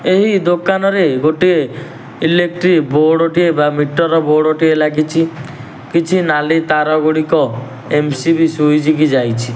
ଏହି ଦୋକାନରେ ଗୋଟିଏ ଏଲେକ୍ଟ୍ରି ବୋର୍ଡ ଟିଏ ବା ମିଟର ବୋର୍ଡ ଟିଏ ଲାଗିଚି। କିଛି ନାଲି ତାର ଗୁଡ଼ିକ ଏମ_ସି_ବି ସ୍ୱିଚ୍ କି ଯାଇଛି।